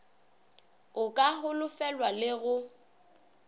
a ka holofelwago le go